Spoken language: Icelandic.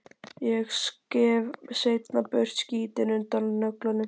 Ég skef seinna burt skítinn undan nöglunum.